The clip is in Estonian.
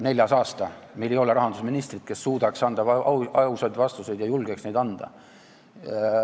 Neljas aasta ei ole meil rahandusministrit, kes suudaks anda ausaid vastuseid ja ka julgeks seda teda.